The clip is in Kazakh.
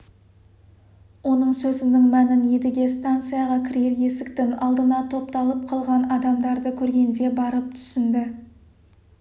оның сөзінің мәнін едіге станцияға кірер есіктің алдына топталып қалған адамдарды көргенде барып түсінді